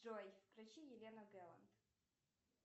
джой включи елена гэланд